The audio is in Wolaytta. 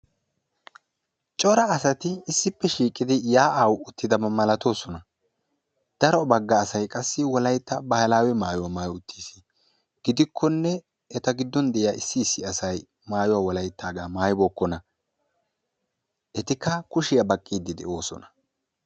Cora asati issippe shiiqidi yaa'aa uttaba malatoosona. Daro bagga asay qassi wolaytta baahilaawe maayuwa maayi uttiis. Gidikkonne eta giddon diya issi issi asay maayuwaa wolayttaagaa maayibookkona. Etikka kushiya baqqiiddi de'oosona.